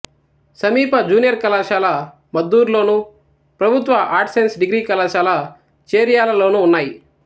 సమీప జూనియర్ కళాశాల మద్దూర్లోను ప్రభుత్వ ఆర్ట్స్ సైన్స్ డిగ్రీ కళాశాల చేర్యాలలోనూ ఉన్నాయి